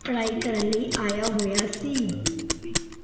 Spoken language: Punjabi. ਪੜ੍ਹਾਈ ਕਰਨ ਲਈ ਆਇਆ ਹੋਇਆ ਸੀ।